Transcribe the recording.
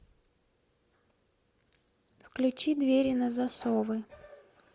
включи двери на засовы